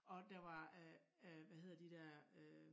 Og der var øh øh hvad hedder der dér øh